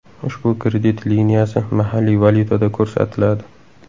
Ushbu kredit liniyasi mahalliy valyutada ko‘rsatiladi.